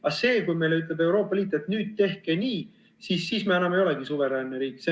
Aga see, kui meile ütleb Euroopa Liit, et nüüd tehke nii, siis me enam ei olegi suveräänne riik.